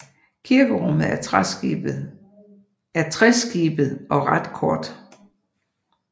Kirkerummet er treskibet og ret kort